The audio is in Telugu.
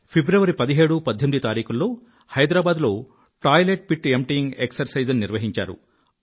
ఫిబ్రవరి 17 18 తేదీలలో హైదరాబాద్ లో టాయిలెట్ పిట్ ఎంప్టైయింగ్ ఎక్సర్సైజ్ ను నిర్వహించారు